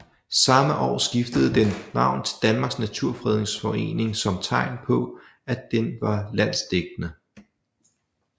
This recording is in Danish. Samme år skiftede den navn til Danmarks Naturfredningsforening som tegn på at den var landsdækkende